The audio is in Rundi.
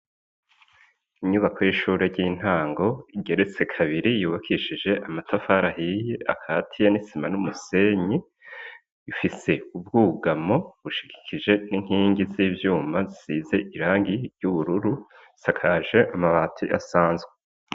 Inyubako y'ishure ry'intango, igeretse kabiri yubakishije amatafari ahiye akatiye n'isima n'umusenyi, ifise ubwugamo bushigikije n'inkingi z'ivyuma zisize irangi ry'ubururu, isakaje amabati asanzwe.